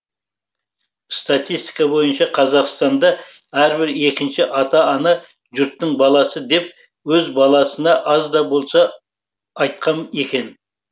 статистика бойынша қазақстанда әрбір екінші ата ана жұрттың баласы деп өз баласына аз да болса да айтқан екен